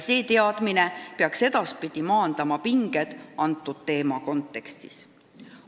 See teadmine peaks edaspidi maandama pinged selle teema kontekstis.